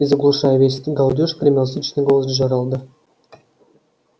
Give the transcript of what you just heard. и заглушая весь этот галдёж гремел зычный голос джералда